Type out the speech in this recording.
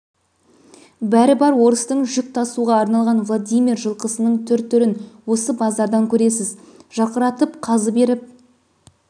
бәрі бар орыстың жүк тасуға арналған владимир жылқысының түр-түрін осы базардан көресіз жарқыратып қазы беріп